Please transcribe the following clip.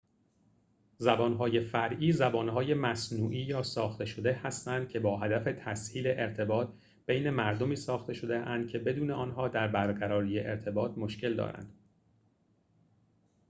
زبانهای فرعی زبانهای مصنوعی یا ساخته شده هستند که با هدف تسهیل ارتباط بین مردمی ساخته شده‌اند که بدون آنها در برقراری ارتباط مشکل دارند